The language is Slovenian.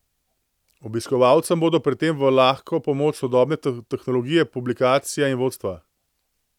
Obiskovalcem bodo pri tem v lahko pomoč sodobne tehnologije, publikacija in vodstva.